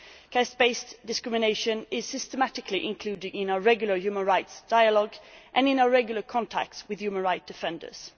Caste based discrimination is systematically included in our regular Human Rights Dialogue and in our regular contacts with human rights defenders.